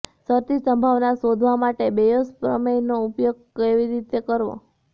શરતી સંભાવના શોધવા માટે બેયોઝ પ્રમેયનો ઉપયોગ કેવી રીતે કરવો